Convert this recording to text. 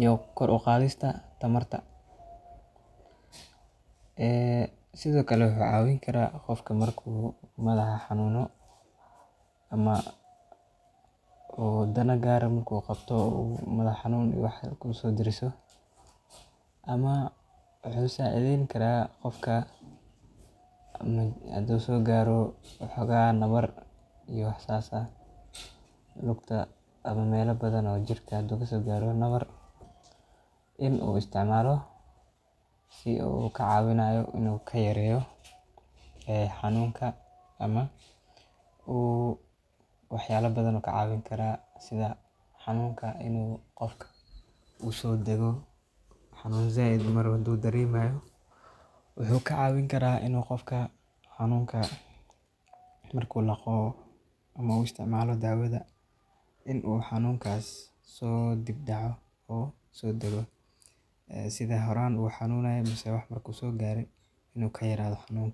iyo kor u qaadidda tamarta. Panadol-ka wuxuu caawiyaa qofka marka uu la kulmo xanuunka madaxa,, ama xaalado kale oo sababa xanuun jirka ah. Waxaa kale oo uu yareeyaa xumadda, wuxuuna gacan ka geystaa in jirku uu dareemo nasasho iyo nafis. Qofka uu madaxu xanuunayo, gaar ahaan marka uu la kulmayo daal, walaac ama hurdo la'aan, wuxuu ka heli karaa nasasho degdeg ah marka uu isticmaalo Panadol. Sidoo kale, haddii jirka uu xanuun ku gaaro, ama qofku uu dareemo waxyaabo keeni kara cabsi ama walaac Panadol wuxuu kaalin ka qataa in markuu u laqo uu xanunka so dhiib daco oo so dago sidii horaan u xanunayo ka yaradho xanunkii.